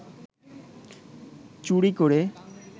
চুরি করে